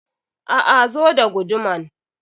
A'a, zo da guduman.